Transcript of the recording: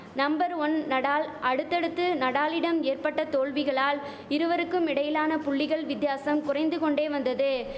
number one Nadal அடுத்தடுத்து நடாலிடம் ஏற்பட்ட தோல்விகளால் இருவருக்கும் இடையிலான புள்ளிகள் வித்தியாசம் குறைந்து கொண்டே வந்தது